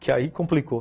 Que aí complicou.